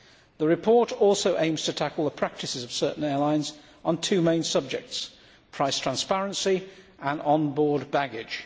The report also aims to tackle the practices of certain airlines on two main subjects price transparency and onboard baggage.